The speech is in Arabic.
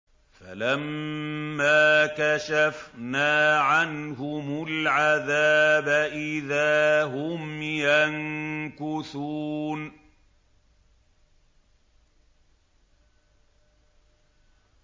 فَلَمَّا كَشَفْنَا عَنْهُمُ الْعَذَابَ إِذَا هُمْ يَنكُثُونَ